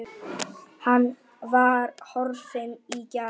Hann var horfinn í gær.